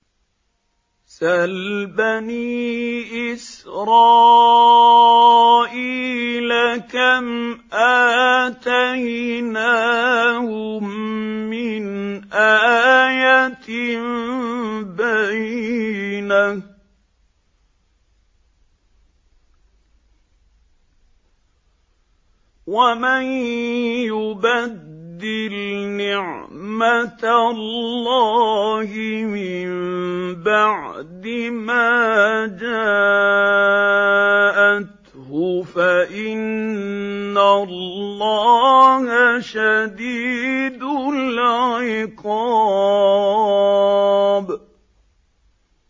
سَلْ بَنِي إِسْرَائِيلَ كَمْ آتَيْنَاهُم مِّنْ آيَةٍ بَيِّنَةٍ ۗ وَمَن يُبَدِّلْ نِعْمَةَ اللَّهِ مِن بَعْدِ مَا جَاءَتْهُ فَإِنَّ اللَّهَ شَدِيدُ الْعِقَابِ